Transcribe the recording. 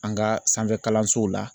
ƆAn ka sanfɛ kalansow la.